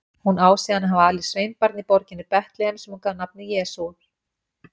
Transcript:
Hún á síðan að hafa alið sveinbarn í borginni Betlehem sem hún gaf nafnið Jesús.